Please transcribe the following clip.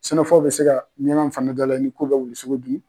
Senafɔw be se ka miɲankaw fana dalaɲi k'u bɛ wuli sogo dun.